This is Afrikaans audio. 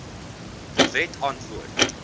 de wet antwoord